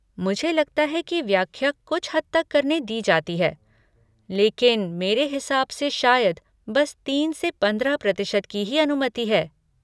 मुझे लगता है कि व्याख्या कुछ हद तक करने दी जाती है, लेकिन मेरे हिसाब से शायद बस तीन से पंद्रह प्रतिशत की ही अनुमति है।